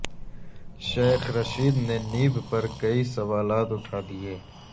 شیخ رشید نے نیب پر کئی سوالات اٹھا دیے